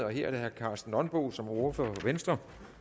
er herre karsten nonbo som ordfører for venstre